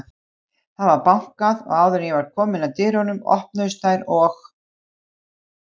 Það var bankað og áður en ég var komin að dyrunum, opnuðust þær og